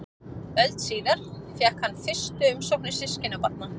Öld síðar fékk hann fyrstu umsóknir systkinabarna.